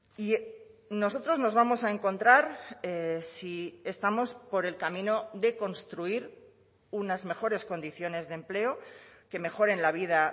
y nosotros nos vamos a encontrar si estamos por el camino de construir unas mejores condiciones de empleo que mejoren la vida